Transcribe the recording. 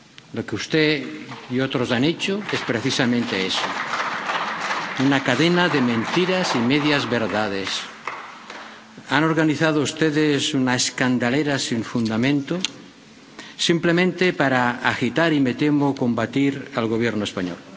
Lo que usted y otros han hecho es precisamente eso una cadena de mentiras y medias verdades. Han organizado ustedes una escandalera sin fundamento, simplemente para agitar y —me temo— combatir al Gobierno español.